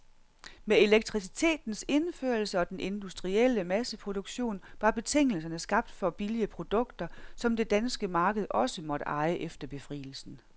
Med elektricitetens indførelse og den industrielle masseproduktion var betingelserne skabt for billige produkter, som det danske marked også måtte eje efter befrielsen.